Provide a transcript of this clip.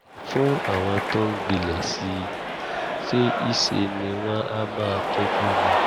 fún àwọn tó ń gbilẹ̀ sí i ṣe i ṣe ni wọ́n á máa tọ́jú wọn